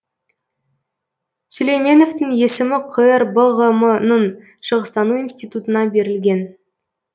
сүлейменовтің есімі қр бғм ның шығыстану институтына берілген